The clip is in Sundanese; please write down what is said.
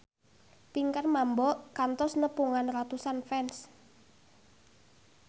Pinkan Mambo kantos nepungan ratusan fans